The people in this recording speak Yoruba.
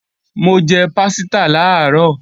Mo jẹ pásítà làárọ̀